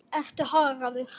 Ertu harður?